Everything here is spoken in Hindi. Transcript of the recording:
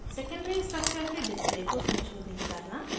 secondary structure के display को संशोधित करना